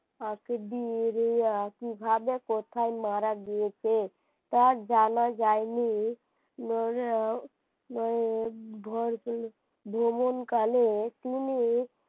আগে বি্রিয়া কিভাবে কোথায় মারা গিয়েছে তা জানা যায়নি নইলে নইলে ভ্রমণ কালে তিনি,